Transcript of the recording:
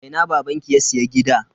A ina babanki ya siya gida?